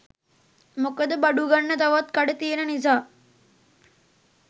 මොකද බඩුගන්න තවත් කඩ තියෙන නිසා